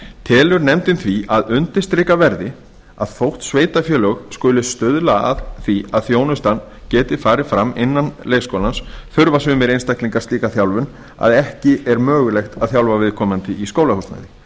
telur nefndin því að undirstrika verði að þótt sveitarfélög skuli stuðla að því að þjónustan geti farið fram innan leikskóla þurfa sumir einstaklingar slíka þjálfun að ekki er mögulegt að þjálfa viðkomandi í skólahúsnæðinu